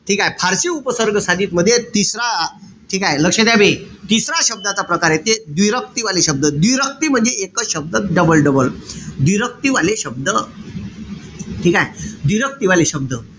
ठीकेय? फारशी उपसर्ग साधित मध्ये तिसरा ठीकेय? लक्ष्य द्या बे. तिसरा शब्दाचा प्रकारे येते , व्दिरक्ती वाले शब्द. व्दिरक्ती म्हणजे एकच शब्द double-double. व्दिरक्ती वाले शब्द ठीकेय? व्दिरक्ती वाले शब्द.